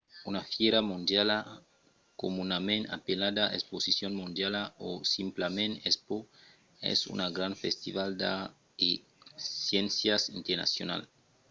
una fièra mondiala comunament apelada exposicion mondiala o simplament expo es un grand festival d’arts e sciéncias internacional